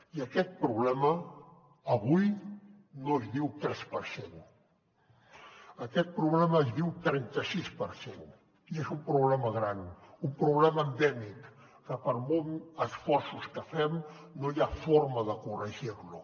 i aquest problema avui no es diu tres per cent aquest problema es diu trenta sis per cent i és un problema gran un problema endèmic que per molts esforços que fem no hi ha forma de corregir lo